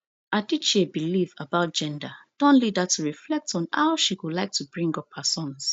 adichie belief about gender don lead her to reflect on how she go like to bring up her sons